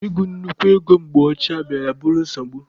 Ị gụ nnukwu ego na mgbe ochie bịara bụrụ nsogbu.